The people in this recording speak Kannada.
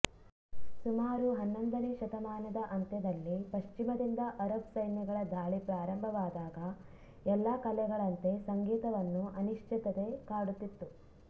ಸುಮಾರು ಹನ್ನೊಂದನೇ ಶತಮಾನದ ಅಂತ್ಯದಲ್ಲಿ ಪಶ್ಚಿಮದಿಂದ ಅರಬ್ ಸೈನ್ಯಗಳ ಧಾಳಿ ಪ್ರಾರಂಭವಾದಾಗ ಎಲ್ಲ ಕಲೆಗಳಂತೆ ಸಂಗೀತವನ್ನು ಅನಿಶ್ಚಿತತೆ ಕಾಡುತ್ತಿತ್ತು